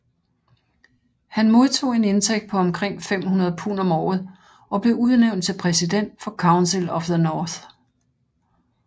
Han modtog en indtægt på omkring 500 pund om året og blev udnævnt til præsident for Council of the North